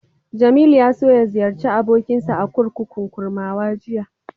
Jamilu ya so ya ziyarci abokinsa a kurkukun Kurmawa jiya.